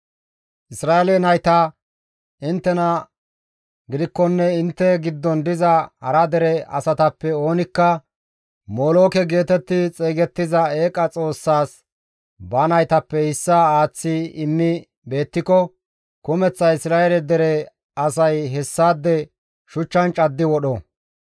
«Isra7eele nayta, ‹Inttena gidikkonne intte giddon diza hara dere asatappe oonikka molooke geetetti xeygettiza eeqa xoossas ba naytappe issaa aaththi immi beettiko kumeththa Isra7eele dere asay hessaade shuchchan caddi wodho.